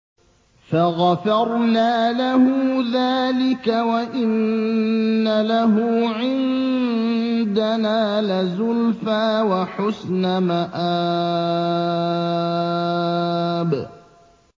فَغَفَرْنَا لَهُ ذَٰلِكَ ۖ وَإِنَّ لَهُ عِندَنَا لَزُلْفَىٰ وَحُسْنَ مَآبٍ